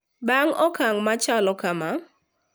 Bang` okang` machalo kama,